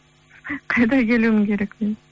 қайда келуім керек мен